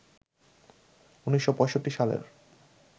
১৯৬৫ সালের